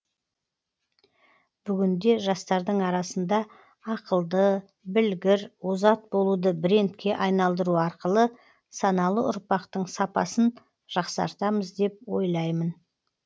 бүгінде жастардың арасында ақылды білгір озат болуды брендке айналдыру арқылы саналы ұрпақтың сапасын жақсартамыз деп ойлаймын